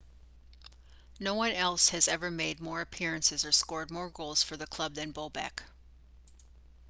no one else has ever made more appearances or scored more goals for the club than bobek